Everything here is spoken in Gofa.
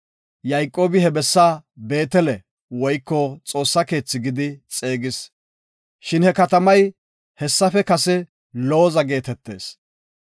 Yayqoobi he bessa Beetele (Xoossa keethi) gidi xeegis. Shin he katamay hessafe kase Looza geetetees.